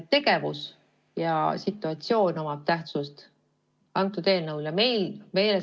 Tegevus ja situatsioon omavad meie eelnõu puhul tähtsust.